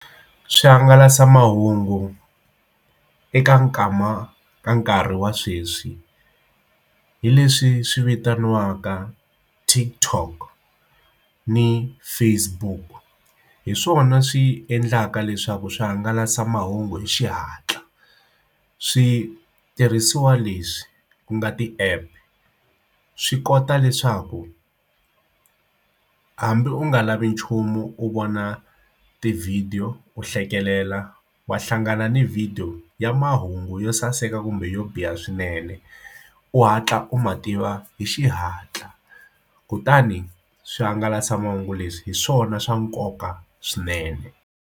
Swihangalasamahungu eka nkama ka nkarhi wa sweswi hi leswi swi vitaniwaka TikTok ni Facebook hi swona swi endlaka leswaku swihangalasamahungu hi xihatla switirhisiwa leswi ku nga ti app swi kota leswaku hambi u nga lavi nchumu u vona tivhidiyo ku hlekelela wa hlangana ni video ya mahungu yo saseka kumbe yo biha swinene u hatla u mativa hi xihatla kutani swihangalasamahungu leswi hi swona swa nkoka swinene.